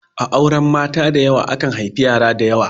A auren mata dayawa, akan haifi yara dayawa.